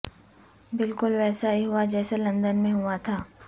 بلکل ویسا ہی ہوا جیسے لندن میں ہوا تھا